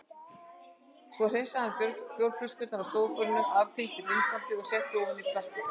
Svo hreinsaði hann bjórflöskurnar af stofuborðinu, aftengdi myndbandstækið og setti ofan í plastpoka.